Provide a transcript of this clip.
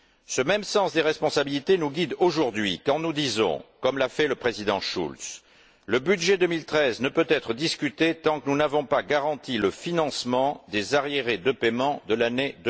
Ce même sens des responsabilités nous guide, aujourd'hui, quand nous disons comme l'a fait le Président Schulz que le budget 2013 ne peut être discuté tant que nous n'avons pas garanti le financement des arriérés de paiements de l'année